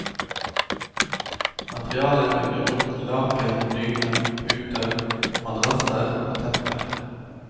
Materialet vil bli brukt til laken, dyner, puter, madrasser og tepper.